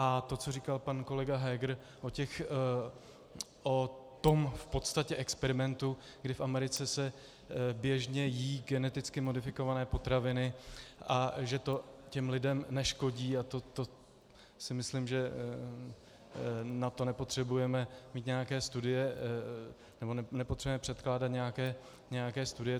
A to, co říkal pan kolega Heger o tom v podstatě experimentu, kdy v Americe se běžně jedí genetiky modifikované potraviny, a že to těm lidem neškodí, a to si myslím, že na to nepotřebujeme mít nějaké studie, nebo nepotřebujeme předkládat nějaké studie.